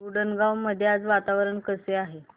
उंडणगांव मध्ये आज वातावरण कसे आहे